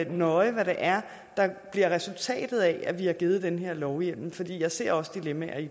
nøje hvad det er der bliver resultatet af at vi har givet den her lovhjemmel for jeg ser også dilemmaer i